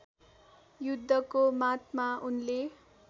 युद्धको मातमा उनले